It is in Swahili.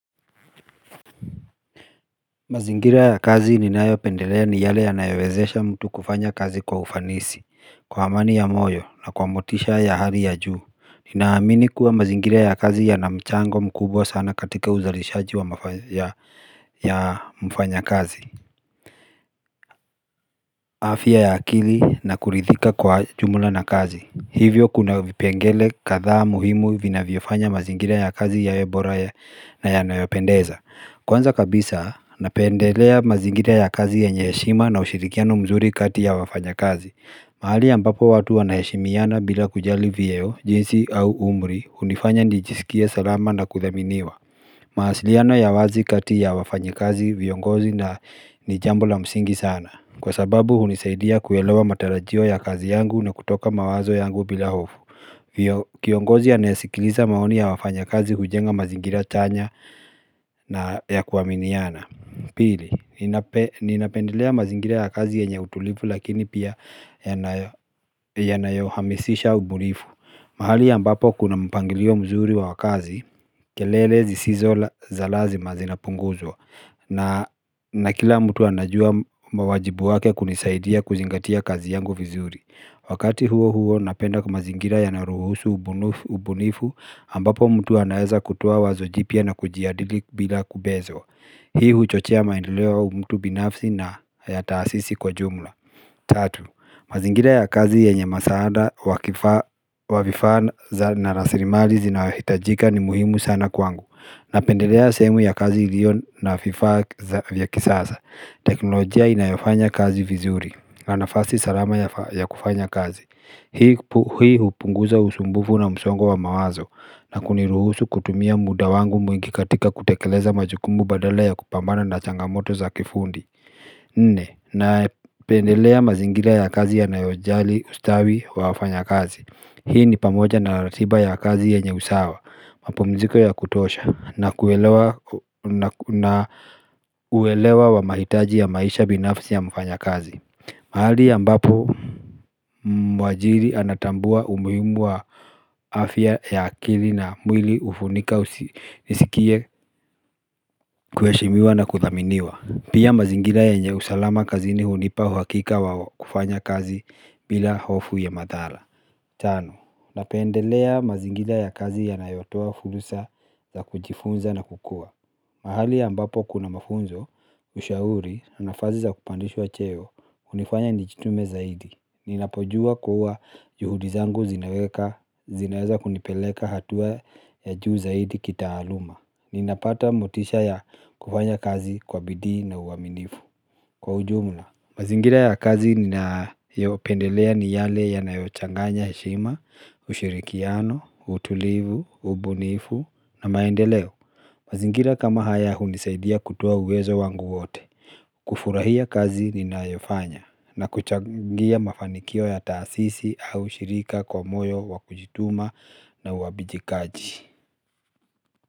Mazingira ya kazi ninayo pendelea ni yale ya nayowezesha mtu kufanya kazi kwa ufanisi, kwa amani ya moyo na kwa motisha ya hali ya juu. Ninaamini kuwa mazingira ya kazi yana mchango mkubwa sana katika uzalishaji wa mfanya kazi. Afya ya akili na kuridhika kwa jumula na kazi. Hivyo kuna vipengele kadhaa muhimu vinavyo fanya mazingira ya kazi yawe bora na yanayopendeza. Kwanza kabisa, napendelea mazingira ya kazi yenye heshima na ushirikiano mzuri kati ya wafanya kazi. Mahali ambapo watu wanaheshimiana bila kujali vyeo, jinsi au umri, hunifanya nijisikie salama na kudhaminiwa. Mawasiliano ya wazi kati ya wafanyi kazi viongozi na ni jambo la msingi sana Kwa sababu hunisaidia kuelewa matarajio ya kazi yangu na kutoka mawazo yangu bila hofu Kiongozi anaesikiliza maoni ya wafanyi kazi hujenga mazingira chanya na ya kuaminiana Pili, ninapendelea mazingira ya kazi yenye utulivu lakini pia yanayo yanayo hamisisha ubunifu mahali ambapo kuna mpangilio mzuri wa wakazi, kelele zisizo za lazima zinapunguzwa na kila mtu anajua mawajibu wake kunisaidia kuzingatia kazi yangu vizuri Wakati huo huo napenda kwa ma zingira yanayo ruhusu ubunifu ambapo mtu anaeza kutua wazo jipya na kujiadili bila kubezwa Hii huchochea maendeleo wa mtu binafsi na ya taasisi kwa jumla Tatu, mazingira ya kazi yenye masaada, wavifaa za na rasrimali zinayo hitajika ni muhimu sana kwangu Napendelea sehemu ya kazi ilio na vifaa vya kisasa teknolojia inayofanya kazi vizuri na nafasi salama ya kufanya kazi Hii hupunguza usumbufu na msongo wa mawazo na kuniruhusu kutumia muda wangu mwingi katika kutekeleza majukumbu badala ya kupambana na changamoto za kifundi nne napendelea mazingira ya kazi yanayo jali ustawi wa wafanya kazi hii ni pamoja na ratiba ya kazi ya nyenye usawa mapumziko ya kutosha na kuelewa wa mahitaji ya maisha binafsi ya mfanya kazi mahali ambapo mwajiri anatambua umuhimu wa afya ya akili na mwili hufunika nisikie kuheshimiwa na kudhaminiwa Pia mazingira yenye usalama kazini hunipa uhakika wa kufanya kazi bila hofu ya madhara. Tano, napendelea mazingira ya kazi yanayotoa furusa za kujifunza na kukua. Mahali ambapo kuna mafunzo, ushauri, nafasi za kupandishwa cheo, hunifanya nijitume zaidi. Ninapojua kuwa juhudi zangu zinaweka, zinaweza kunipeleka hatua ya juu zaidi kitaaluma. Ninapata motisha ya kufanya kazi kwa bidii na uaminifu kwa ujumla mazingira ya kazi ninayopendelea ni yale yanayo changanya heshima, ushirikiano, utulivu, ubunifu na maendeleo mazingira kama haya hunisaidia kutoa uwezo wangu wote kufurahia kazi ninayofanya na kuchangia mafanikio ya taasisi au shirika kwa moyo wa kujituma na uajibikaji.